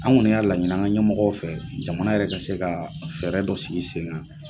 An kɔni y'a laɲi an ka ɲɛmɔgɔw fɛ jamana yɛrɛ ka se ka fɛɛrɛ dɔ sigi senkan.